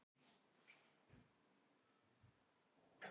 Brýtur gegn gjaldþrotalögum